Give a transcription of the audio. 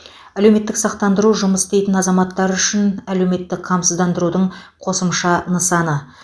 әлеуметтік сақтандыру жұмыс істейтін азаматтар үшін әлеуметтік қамсыздандырудың қосымша нысаны